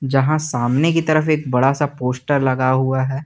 जहां सामने की तरफ एक बड़ा सा पोस्टर लगा हुआ है।